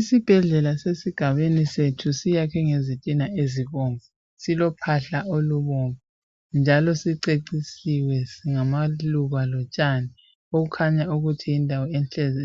Isibhedlela sesigabeni sethu siyakhiwe ngezitina ezibomvu silophahla olubomvu njalo sicecisiwe ngamaluba njalo lotshani okukhanya ukuthi yindawo